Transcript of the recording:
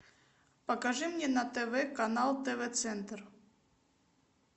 покажи мне на тв канал тв центр